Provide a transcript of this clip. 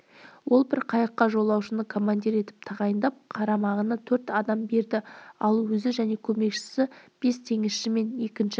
ол бір қайыққа жолаушыны командир етіп тағайындап қарамағына төрт адам берді ал өзі және көмекшісі бес теңізшімен екінші